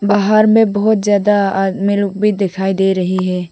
बाहर में बहोत ज्यादा आदमी लोग भी दिखाई दे रही है।